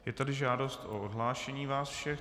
Je tady žádost o odhlášení vás všech.